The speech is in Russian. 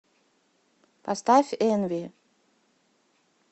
поставь энви